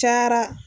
Cayara